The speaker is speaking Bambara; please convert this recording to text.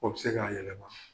O bɛ se k'a yɛlɛma